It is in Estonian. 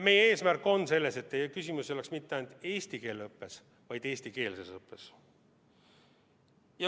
Meie eesmärk on, et küsimus ei oleks mitte ainult eesti keele õppes, vaid eestikeelses õppes.